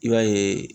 I b'a ye